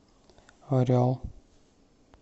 орел